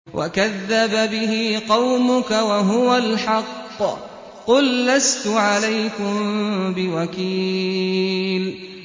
وَكَذَّبَ بِهِ قَوْمُكَ وَهُوَ الْحَقُّ ۚ قُل لَّسْتُ عَلَيْكُم بِوَكِيلٍ